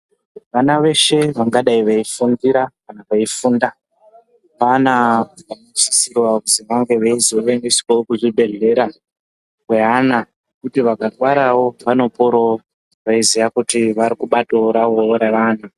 Vana veshe vangadai veifundira kana veifunda vana vanosisirwa kuti vange veizoendeswawo kuzvibhedhlera neana kuti vakarwarawo vanoporawo veiziva kuti vakubatawo ravo ravanhu.